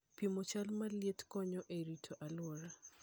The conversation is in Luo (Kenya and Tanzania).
Pimo chal mar liet konyo e rito alwora.